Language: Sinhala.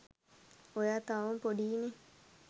ඔයා තවම පොඩීනේ